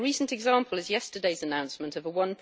A recent example is yesterday's announcement of a EUR